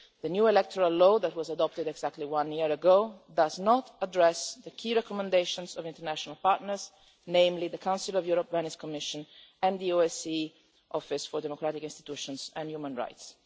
The new electoral law that was adopted exactly a year ago does not address the key recommendations of international partners, namely the Council of Europe Venice Commission and the OSCE Office for Democratic Institutions and Human Rights.